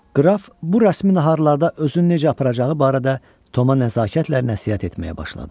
Qraf bu rəsmi naharlarda özünü necə aparacağı barədə Toma nəzakətlə nəsihət etməyə başladı.